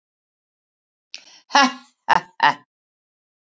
Ha ha ha.